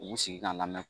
U b'u sigi ka lamɛn